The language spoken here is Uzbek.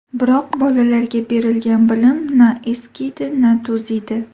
Biroq bolalarga berilgan bilim na eskiydi, na to‘ziydi.